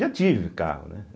Já tive carro, né.